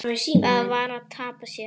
Það var að tapa sér.